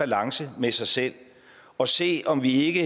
balance med sig selv og se om vi ikke